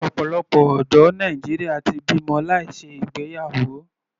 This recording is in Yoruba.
Ọ̀pọ̀lọpọ̀ ọ̀dọ́ Nàìjíríà ti bímọ láì ṣe ìgbéyàwó.